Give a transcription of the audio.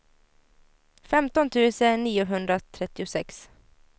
femton tusen niohundratrettiosex